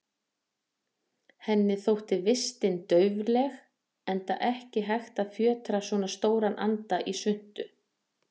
Henni þótti vistin daufleg, enda ekki hægt að fjötra svo stóran anda í svuntu.